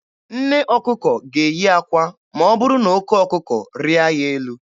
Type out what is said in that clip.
Nne ọkụkọ ga-eyi akwa ma ọ bụrụ na oke ọkụkọ rịa ya elu.